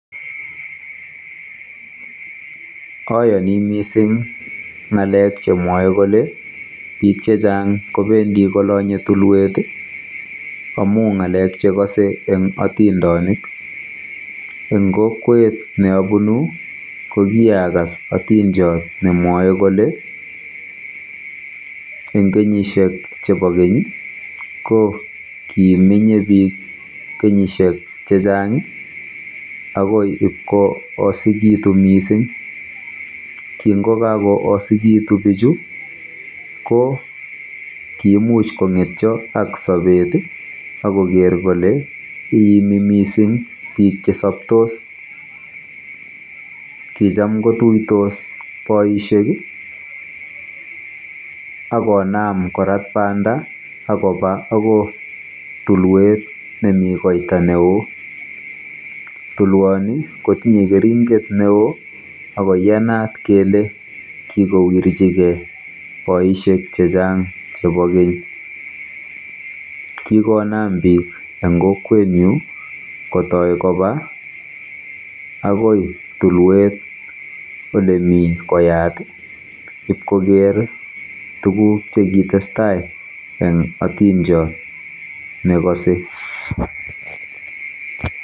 Oyoni mising ng'alek chemwoe kole bik chechang kobendi kolonye tulwet amu ng'alek chekose eng otindonik. Eng kokwet neobunu ko kiagas otindiot nemwae kole eng kenyisiek chebo keny ko kimenyei bik kenyishek chechang akoi ibkoosikitu mising. Kingokakoosikitu bichu ko kiimuch kong'etyo ak sobet akoker kole iimi mising bik chesaptos. Kicham kotuitos boisiek akonam korat banda akoba akoi tulwet nemi koita neo. Tulwoni kotinye keringet neo akoiyanat kole kikowirchigei boisiek chechang chebo keny. Kikonam bik chechang eng kokwetnyu kotoi koba akoi tulwet olemi koyat ipkoker tuguk chekitestai eng atindiot negose.